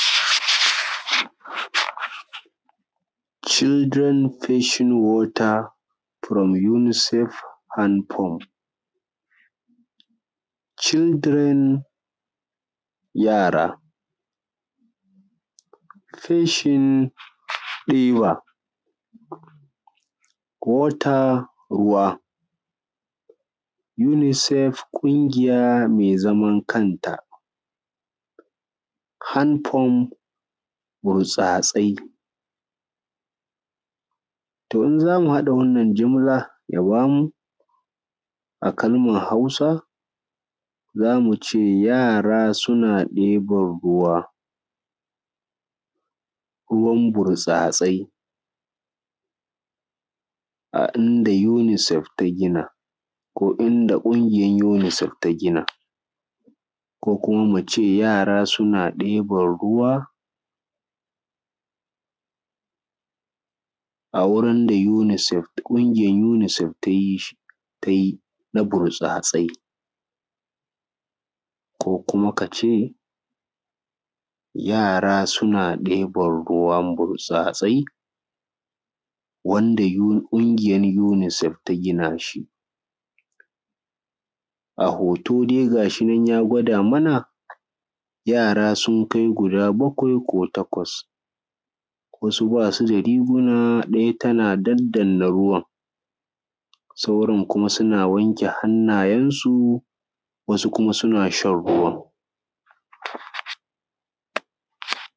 Cildiren feshin wota furom unisifef andafom. Cildiren (yara), feshin, (diba),wota(ruwa)unisifef (ƙungiya mai zaman kanta)anfom(burtsatse) to idan zamu haɗa wannan jumla ya bamu a kalman Hausa zamu ce yara ( yara suna ɗiban ruwan burtsatsai a inda unisifef ta gina ko a inda ƙungiyar unisifef ta gina) ko kuma muce yara suna ɗiban ruwan a gurin da unisifef, ƙungiyar unisifef tayi shi, tayi na burtsatsai. Ko kuma kace yara suna ɗiban ruwan burtsatsai wanda ƙungiyar unisifef ta gina shi. A hoto dai gashi nan dai ya gwada mana yara sun kai guda bakwai ko takwas, wasu basu da riguna daya tana daddana ruwan sauran kuma suna wanke hannayensu wasu kuma suna shan ruwan.